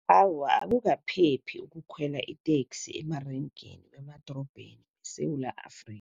Awa, akukaphephi ukukhwela iteksi emarenkeni wemadorobheni weSewula Afrika.